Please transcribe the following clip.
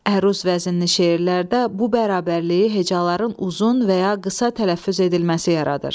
Əruz vəznində şeirlərdə bu bərabərliyi hecaların uzun və ya qısa tələffüz edilməsi yaradır.